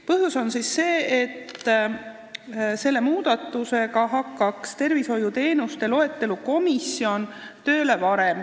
Põhjus on see, et selle muudatuse tulemusena hakkaks tervishoiuteenuste loetelu komisjon varem tööle.